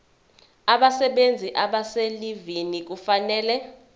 abasebenzi abaselivini kufanele